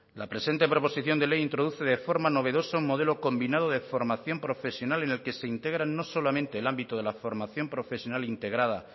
la presente proposición de ley introduce de forma novedosa un modelo combinado de formación profesional en el que se integran no solamente el ámbito de la formación profesional integrada